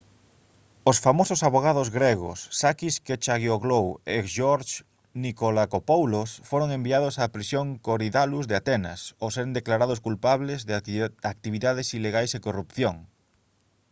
os famosos avogados gregos sakis kechagioglou e george nikolakopoulos foron enviados á prisión korydallus de atenas ao seren declarados culpables de actividades ilegais e corrupción